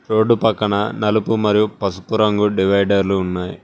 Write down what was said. Road పక్కన నలుపు మరియు పసుపు రంగు డివైడర్లు ఉన్నాయి.